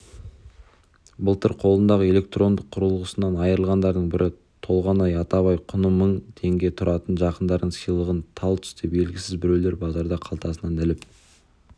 былтыр қолындағы электронды құрылғысынан айырылғандардың бірі толғанай атабай құны мың теңге тұратын жақындарының сыйлығын тал түсте белгісіз біреулер базарда қалтасынан іліп